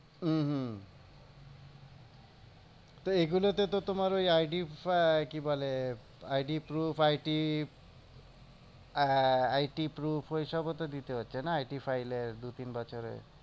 হম হম তো এগুলোতেতো তোমার ওই ID কি বলে? ID proof IT আহ IT proof ওইসবও তো দিতে হচ্ছে না? IT file এর দু তিন বছরের